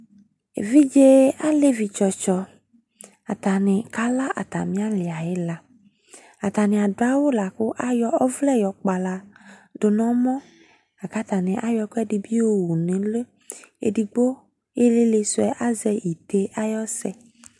Evidze alevi tsɔtsɔ, atane ka la arane ali ayala Atane ado awu lako ayɔ ɔvlɛ yɔ kpala do nɔmɔ la ka atane ayɔ ɛkuɛde be yowu do no uliEdigbo ilele suɛ azɛ ite ayɔsɛ